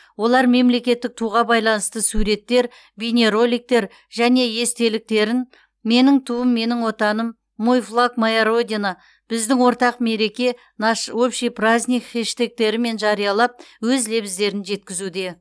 олар мемлекеттік туға байланысты суреттер бейнероликтер және естеліктерін менің туым менің отаным мой флаг моя родина біздің ортақ мереке наш общий праздник хештегтерімен жариялап өз лебіздерін жеткізуде